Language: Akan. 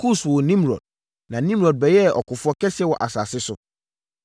Kus woo Nimrod. Na Nimrod bɛyɛɛ ɔkofoɔ kɛseɛ wɔ asase so.